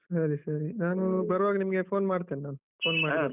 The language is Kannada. ಸರಿ ಸರಿ ನಾನು ಬರುವಾಗ ನಿಮ್ಗೇ phone ಮಾಡ್ತೀನ್ ನಾನು .